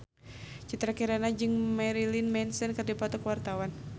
Citra Kirana jeung Marilyn Manson keur dipoto ku wartawan